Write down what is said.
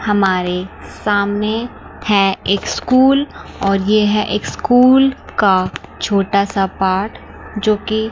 हमारे सामने है एक स्कूल और यह है एक स्कूल का छोटा सा पार्ट जो की--